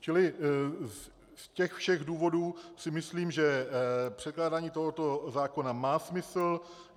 Čili z těch všech důvodů si myslím, že předkládání tohoto zákona má smysl.